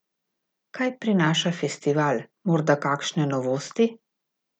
Kaj prinaša festival, morda kakšne novosti?